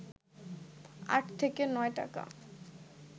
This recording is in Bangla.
আট থেকে নয় টাকা